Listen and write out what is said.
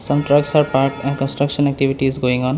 Some trucks are parked and construction activities going on.